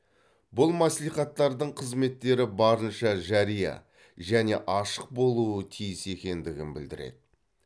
бұл мәслихаттардың қызметтері барынша жария және ашық болуы тиіс екендігін білдіреді